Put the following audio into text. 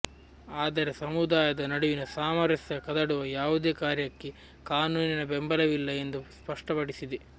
ಆದರೆ ಸಮುದಾಯದ ನಡುವಿನ ಸಾಮರಸ್ಯ ಕದಡುವ ಯಾವುದೇ ಕಾರ್ಯಕ್ಕೆ ಕಾನೂನಿನ ಬೆಂಬಲವಿಲ್ಲ ಎಂದು ಸ್ಪಷ್ಟಪಡಿಸಿದೆ